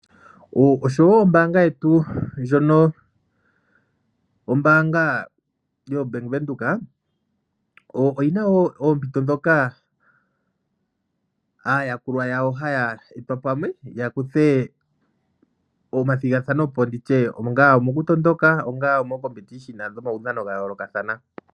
Oshowo ombanga yetu ndjono ombaanga yoBank Windhoek oyina wo oompito dhoka aayakulwa yawo haya pamwe ya kuthe omathigathano po. Nditye onga omo ku tondoka onga omomathigathano gomaudhano gayolokathana.